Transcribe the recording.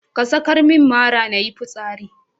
Ka sakar min mara nayi fitsari.